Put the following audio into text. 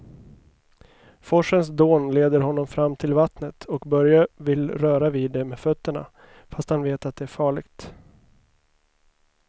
Forsens dån leder honom fram till vattnet och Börje vill röra vid det med fötterna, fast han vet att det är farligt.